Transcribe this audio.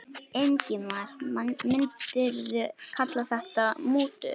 Ingimar: Myndirðu kalla þetta mútur?